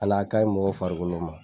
Hali a ka ɲi mɔgɔ farikolo ma.